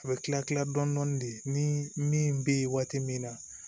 A bɛ kila kila dɔɔni dɔɔni de ni min bɛ waati min na